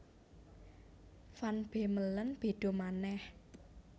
Van Bemmelen béda manèh